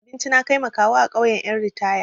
Na dafa abinci na kai ma kawu a ƙauyan ƴan ritaya.